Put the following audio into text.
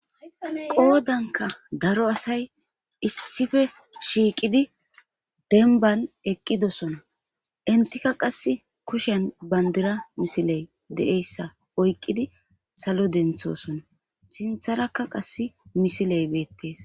qoodanka daro asay issife shiiqidi denban eqqidosona intika qass kushen bandira misiley de7eyssa oyqqidi salo denthosona sintharakka qas misiley beettees